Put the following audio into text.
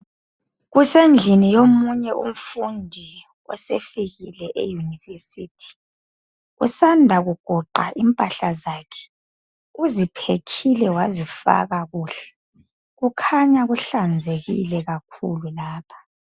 Kusendlini yomunye umfundi osefikile eyunivesithi. Usanda kugoqa impahla zakhe. Uziphekhile wazifakha kuhle. Kukhanya kuhlanzekile kakhulu lapha.